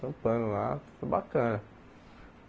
Trampando lá, foi bacana.